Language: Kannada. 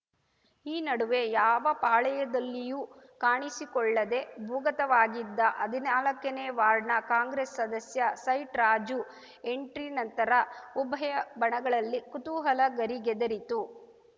ಈ ನಡುವೆ ಯಾವ ಪಾಳಯದಲ್ಲಿಯೂ ಕಾಣಿಸಿಕೊಳ್ಳದೇ ಭೂಗತವಾಗಿದ್ದ ಹದ್ನಾಲ್ಕನೇ ವಾರ್ಡ್‌ನ ಕಾಂಗ್ರೆಸ್‌ ಸದಸ್ಯ ಸೈಟ್‌ ರಾಜು ಎಂಟ್ರಿ ನಂತರ ಉಭಯ ಬಣಗಳಲ್ಲಿ ಕುತೂಹಲ ಗರಿಗೆದರಿತು